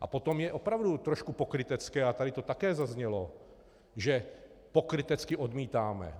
A potom je opravdu trošku pokrytecké - a tady to taky zaznělo - že pokrytecky odmítáme.